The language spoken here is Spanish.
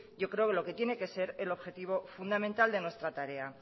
yo creo que lo que tiene que ser el objetivo fundamental de nuestra tarea